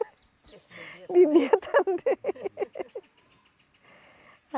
Esse bebia? Bebia também.